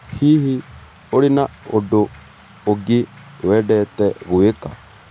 Hihi, ũrĩ n ũndũ ũngĩ wendete gwĩka?